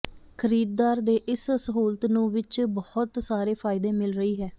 ਖਰੀਦਦਾਰ ਨੇ ਇਸ ਸਹੂਲਤ ਨੂੰ ਵਿਚ ਬਹੁਤ ਸਾਰੇ ਫਾਇਦੇ ਮਿਲ ਰਹੀ ਹੈ